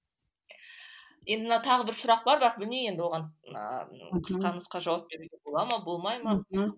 енді мына тағы бір сұрақ бар бірақ білмеймін енді оған ыыы қысқа нұсқа жауап беруге бола ма болмай ма